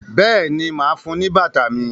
béèni má fún ní bàtà mí.